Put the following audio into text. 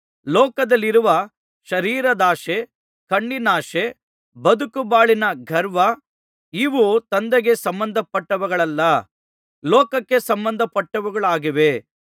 ಲೋಕದಲ್ಲಿರುವ ಶರೀರದಾಶೆ ಕಣ್ಣಿನಾಶೆ ಬದುಕುಬಾಳಿನ ಗರ್ವ ಇವು ತಂದೆಗೆ ಸಂಬಂಧಪಟ್ಟವುಗಳಲ್ಲ ಲೋಕಕ್ಕೆ ಸಂಬಂಧಪಟ್ಟವುಗಳಾಗಿವೆ